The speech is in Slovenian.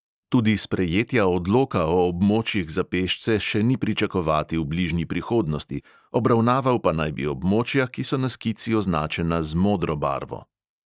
Tudi sprejetja odloka o območjih za pešce še ni pričakovati v bližnji prihodnosti, obravnaval pa naj bi območja, ki so na skici označena z modro barvo.